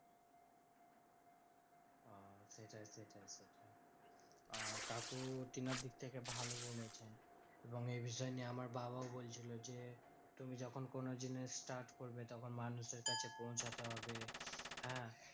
আহ কাকু তেনার দিক থেকে ভালো বলেছেন। এবং এই বিষয় নিয়ে আমার বাবা বলছিলো যে, তুমি যখন কোনো জিনিস start করবে তখন মানুষের কাছে পৌঁছতে হবে। হ্যাঁ